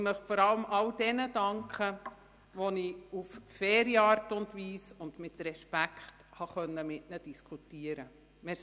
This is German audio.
Ich möchte vor allem all jenen danken, mit denen ich auf eine faire Art und Weise und mit Respekt diskutieren konnte.